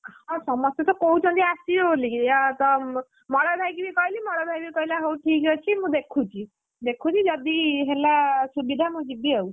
ହଁ ସମସ୍ତେ ତ କହୁଛନ୍ତି ଆସିବେ ବୋଲିକି, ଆଉ ତ ମଳୟ ଭାଇକି ବି କହିଲି ମଳୟ ଭାଇତ କହିଲା ହଉ ଠିକ୍ ଅଛି ମୁଁ ଦେଖୁଛି! ଦେଖୁଛି ଯଦି ହେଲା ସୁବିଧା ମୁଁ ଯିବି ଆଉ,